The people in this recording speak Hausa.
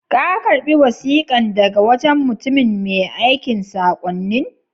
Ka karba wasikan daga wajen mutumin mai aikan sakonnin?